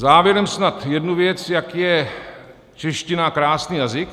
Závěrem snad jednu věc, jak je čeština krásný jazyk.